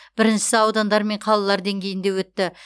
біріншісі аудандар мен қалалар деңгейінде өтті